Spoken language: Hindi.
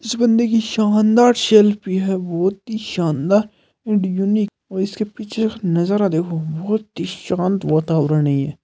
इस बंदे की शानदार सेल्फ़ी है बोहोत ही शानदार एण्ड यूनक और इसके पीछे नजारा देखो बोहोत ही शांत वातावरण है ये।